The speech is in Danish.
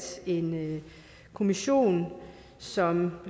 en kommission som